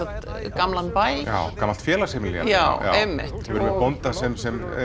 gamlan bæ já gamalt félagsheimili já einmitt við sjáum bónda sem sem